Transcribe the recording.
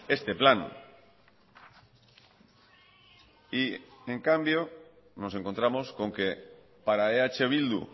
este plan y en cambio nos encontramos con que para eh bildu